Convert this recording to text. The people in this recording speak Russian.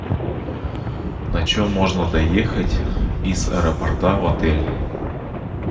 на чем можно доехать из аэропорта в отель